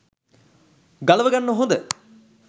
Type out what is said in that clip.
ගලව ගන්න හොඳ